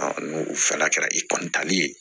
n'u fana kɛra i kɔnnitali ye